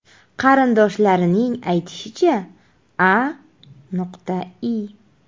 Qarindoshlarining aytishicha, A.I.